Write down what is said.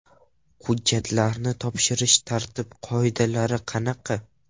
Hujjatlarni topshirish tartib-qoidalari qanaqa?